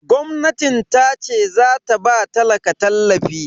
Gwamnatin tace zata ba talaka tallafi